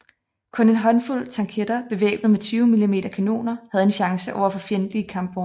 Kun en håndfuld tanketter bevæbnet med 20 mm kanoner havde en chance overfor fjendtlige kampvogne